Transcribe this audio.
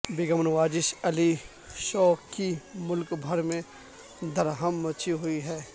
بیگم Nawazish Ali show کی ملک بھر میں دھوم مچی ہوئی ہے